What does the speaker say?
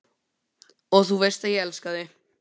Og þú veist að ég elska þig.